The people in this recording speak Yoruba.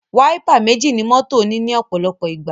Wáípà méjì ní mọ́tò ní òpòlopò ìgbà